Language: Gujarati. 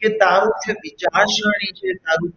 કે તારું જે વિચારસરણી છે તારું,